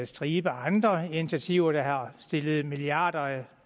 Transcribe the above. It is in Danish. stribe andre initiativer der har stillet milliarder af